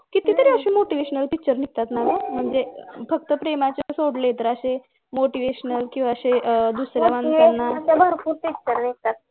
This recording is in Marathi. कितीतरी अशे motivational picture निघतात ना गं म्हणजे फक्त premises सोडले तर अशे motivational किंवा अशे आह दुसऱ्या माणसांना